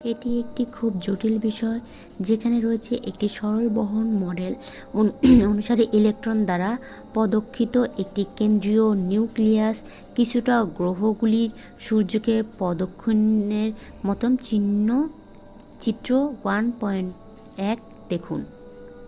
এটি একটি খুব জটিল বিষয় যেখানে রয়েছে একটি সরল বোহর মডেল অনুসারে ইলেকট্রন দ্বারা প্রদক্ষিত একটি কেন্দ্রীয় নিউক্লিয়াস কিছুটা গ্রহগুলির সূর্যকে প্রদক্ষিণের মতো চিত্র 1.1দেখুন